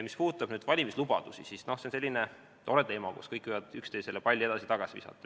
Mis puudutab valimislubadusi, siis see on selline tore teema, kus kõik võivad palli edasi-tagasi visata.